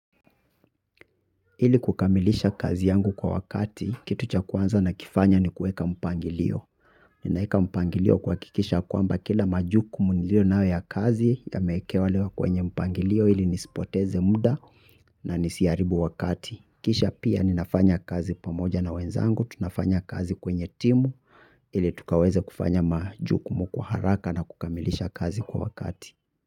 Ili kukamilisha kazi yangu kwa wakati, kitu cha kwanza nakifanya ni kueka mpangilio. Ninaeka mpangilio kuhakikisha ya kwamba kila majukumu nilionayo ya kazi yameekewa lewa kwenye mpangilio ili nisipoteze mda na nisiaribu wakati. Kisha pia ninafanya kazi pamoja na wenzangu, tunafanya kazi kwenye timu, ili tukaweze kufanya majukumu kwa haraka na kukamilisha kazi kwa wakati.